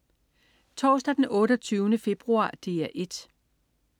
Torsdag den 28. februar - DR 1: